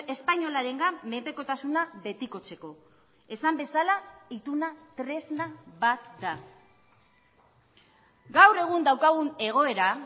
espainolarengan menpekotasuna betikotzeko esan bezala ituna tresna bat da gaur egun daukagun egoera